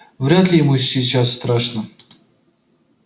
вряд ли ему сейчас страшно